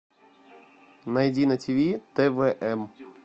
найди на тв твм